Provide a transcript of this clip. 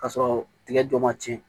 K'a sɔrɔ tigɛ dɔ ma cɛn